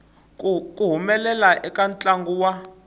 ku humelela eka ntlangu wa